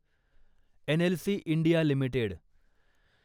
NLC India limited